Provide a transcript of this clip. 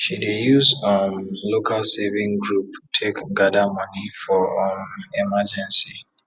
she dey use um local saving group take gada moni for um emergency